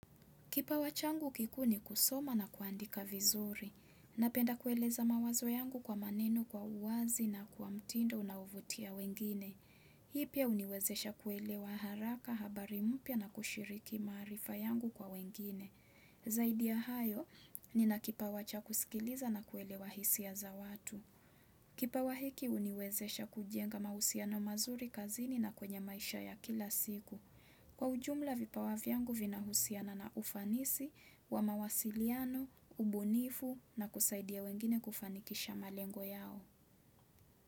Kipawa changu kikuu ni kusoma na kuandika vizuri napenda kueleza mawazo yangu kwa maneno kwa uwazi na kwa mtindo unaovutia wengine Hii pia uniwezesha kuelewa haraka habari mpya na kushiriki maarifa yangu kwa wengine zaidi ya hayo nina kipawa cha kusikiliza na kuelewa hisia za watu kipawa hiki uniwezesha kujenga mahusiano mazuri kazini na kwenye maisha ya kila siku kwa ujumla vipawa vyangu vina husiana na ufanisi wa mawasiliano ubunifu na kusaidia wengine kufanikisha malengo yao.